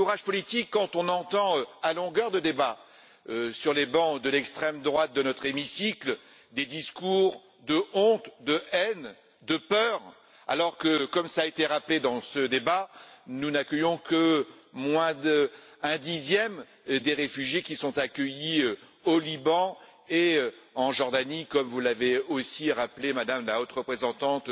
Oui, de courage politique quand on entend à longueur de débats sur les bancs de l'extrême droite de notre hémicycle des discours de honte, de haine et de peur, alors que, comme cela a été rappelé dans ce débat, nous n'accueillons que moins d'un dixième des réfugiés qui sont accueillis au Liban et en Jordanie, comme vous l'avez aussi rappelé tout à l'heure, Madame la Haute représentante.